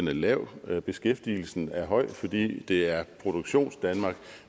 er lav beskæftigelsen er høj fordi det er produktionsdanmark